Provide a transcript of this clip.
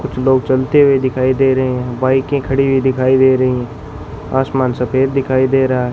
कुछ लोग चलते हुए दिखाई दे रहे हैं बाईकें खड़ी हुई दिखाई दे रही हैं आसमान सफेद दिखाई दे रहा है।